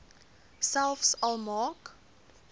selfs al maak